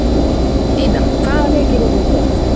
Ina, hvaða leikir eru í kvöld?